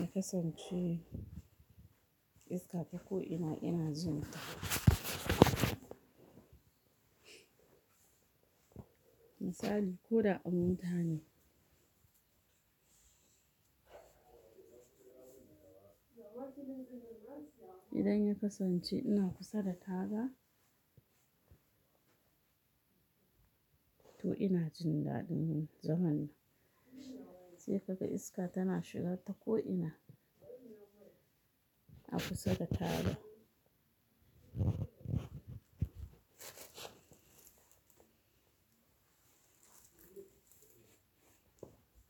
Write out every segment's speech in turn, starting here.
Ya kasance iska ta ko'ina ina jin ta. Misali, ko da a mota ne idan ya kasance ina kusa da taga, to ina jin dadin zaman nan sai kaga iska tana shiga ta ko'ina a kusa da taga.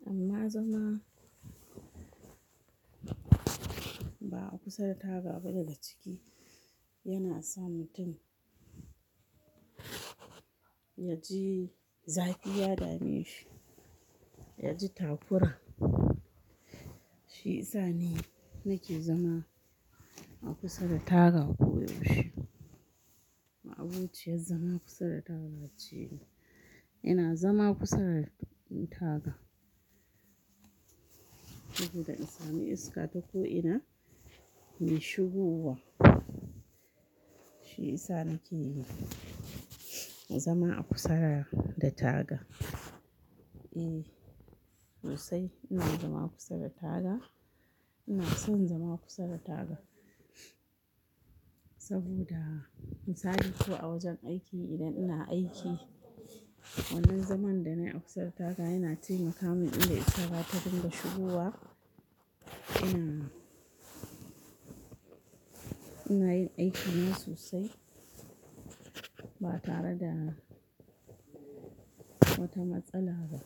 Amma zama ba a kusa da taga ba daga ciki yana sa mutum ya ji zafi ya dame shi, ya ji takura. Shi isa ni nake zama a kusa da taga koyaushe. Ma'abociyar zama kusa da taga ce ni. Ina zama kusa da taga saboda in sami iska ta ko'ina mai shigowa. Shi isa nake yi, zama a kusa da taga. Eh, sosai ina zama kusa da taga. Ina son zama kusa da taga, saboda misali ko a wajen aiki idan ina aiki wannan zaman da na yi a kusa da taga yana taimaka min ina iska zata dinga shigowa. Ina, ina yin aikina sosai ba tare da wata matsala ba.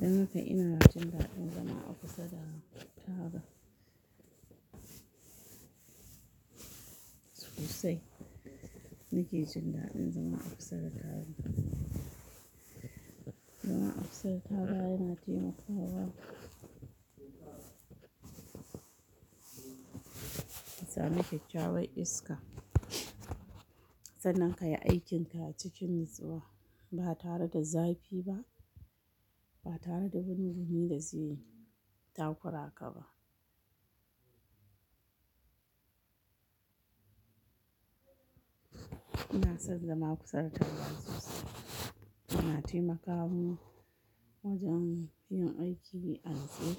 Don haka ina jin daɗin zama a kusa da taga sosai. Nake jin daɗin zama a kusa da taga. Zama a kusa da taga yana taimakawa ka sami kyakkyawar iska. Sannan ka yi aikinka a cikin natsuwa ba tare da zafi ba, ba tare da binni binni da zai takura ka ba. Ina son zama kusa da taga sosai. Yana taimakamin wajen yin aiki a natse mini wajen yin aiki al'adu.